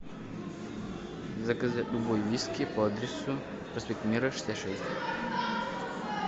заказать любой виски по адресу проспект мира шестьдесят шесть